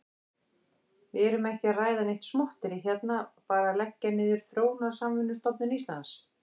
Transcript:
Við erum ekki að ræða neitt smotterí hérna, bara að leggja niður Þróunarsamvinnustofnun Íslands.